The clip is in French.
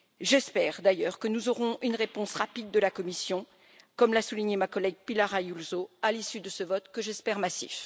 J'espère d'ailleurs que nous aurons une réponse rapide de la Commission, comme l'a souligné ma collègue Pilar Ayuso, à l'issue de ce vote que j'espère massif.